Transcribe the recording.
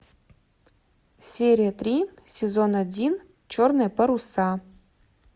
серия три сезон один черные паруса